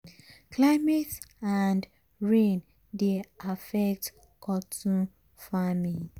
climate and rain dey affect cotton farming.